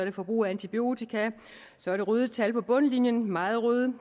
og forbrug af antibiotika så er der røde tal på bundlinjen meget røde